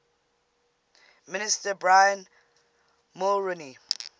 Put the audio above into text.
minister brian mulroney